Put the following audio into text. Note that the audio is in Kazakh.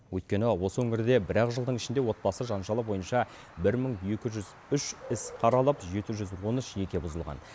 өйткені осы өңірде бір ақ жылдың ішінде отбасы жанжалы бойынша бір мың екі жүз үш іс қаралып жеті жүз он үш неке бұзылған